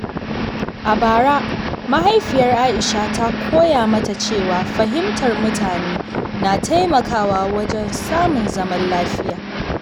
A bara, Mahaifiyar Aisha ta koya mata cewa fahimtar mutane na taimakawa wajen samun zaman lafiya.